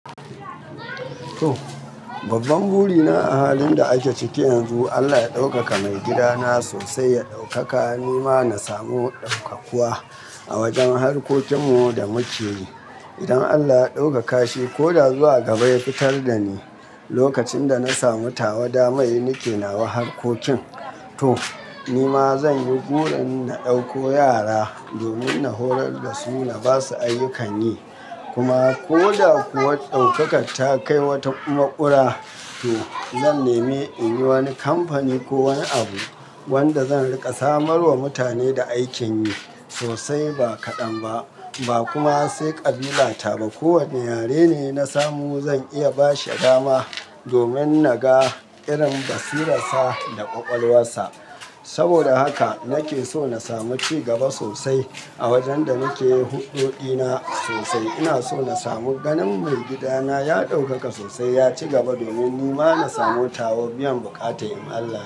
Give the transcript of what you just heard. To babban buri na a halin da ake ciki yanzu, Allah ya ɗaukaka maigidana sosai, ya ɗaukaka. Ni ma na samu ɗaukakuwa a wajen harkokin mu da muke yi. Idan Allah ya ɗaukaka shi ko da zuwa gaba ya fitar da ni, lokacin da na samu tawada mai, ni ke nawa harkokin. To ni ma zan yi burin na ɗauko yara domin na horar da su na ba su ayyukan yi. Kuma ko da kuwa ɗaukaka ta kai wata makura, to zan nemi in yi wani kamfani ko wani abu wanda zan riƙa samarwa mutane da aikin yi sosai ba kaɗan ba, ba kuma sai ƙabila ta ba. Ko wane yare ne na samu zan iya ba shi dama domin na ga irin basirarsa da ƙwaƙwalwarsa. Saboda haka nake so na samu ci gaba sosai a wajen da nake yi huɗɗo ɗina sosai. Ina so na samu ganin maigidana ya ɗaukaka sosai, ya ci gaba domin ni ma na samu tawa biyan buƙata in Allah ya.